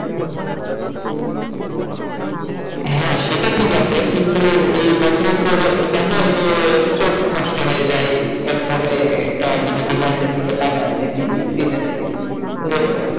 হ্যাঁ সেটা ঠিক আছে কিন্তু বর্তমান যুগে দেখো এই যে চোখ নষ্ট হয়ে যায় এক ভাবে একটা device এর দিকে তাকায় আছে screen এর দিকে তো,